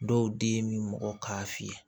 Dɔw den bɛ mɔgɔ k'a fiyɛ